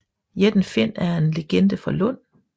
Jætten Finn er en legende fra Lund